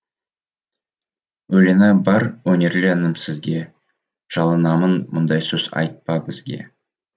өлеңі бар өнерлі інім сізге жалынамын мұндай сөз айтпа бізге